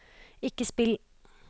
ikke spill